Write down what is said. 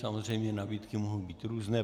Samozřejmě nabídky mohou být různé.